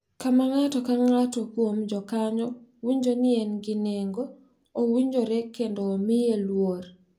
Kama ng’ato ka ng’ato kuom jokanyo winjo ni en gi nengo, owinjore kendo omiye luor.